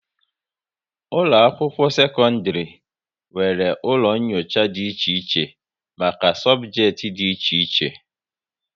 Ụlọ akwụkwọ sekọndrị nwere ụlọ nyocha dị iche iche maka sobjekiti dị iche iche